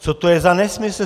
Co to je za nesmysl?